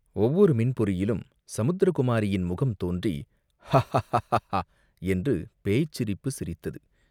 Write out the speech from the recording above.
ஒவ்வொரு மின்பொறியிலும் சமுத்திரகுமாரியின் முகம் தோன்றி ஹா ஹா ஹா ஹா என்று பேய்ச்சிரிப்புச் சிரித்தது.